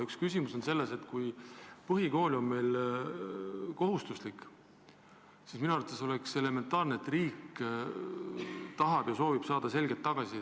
Üks küsimus on see, et kui põhikool on meil kohustuslik, siis minu arvates oleks elementaarne, et riik tahab saada selget tagasisidet.